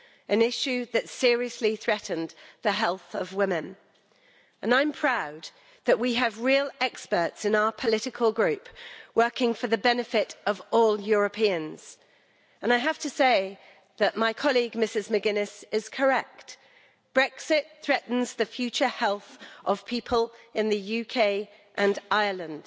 an issue that seriously threatened the health of women, and I am proud that we have real experts in our political group working for the benefit of all Europeans, and I have to say that my colleague Mrs McGuinness is correct Brexit threatens the future health of people in the UK and Ireland.